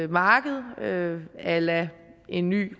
marked a la en ny